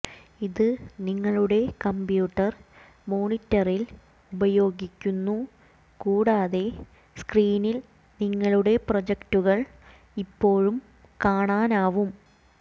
ഇത് നിങ്ങളുടെ കമ്പ്യൂട്ടർ മോണിറ്ററിൽ ഉപയോഗിക്കുന്നു കൂടാതെ സ്ക്രീനിൽ നിങ്ങളുടെ പ്രൊജക്റ്റുകൾ ഇപ്പോഴും കാണാനാവും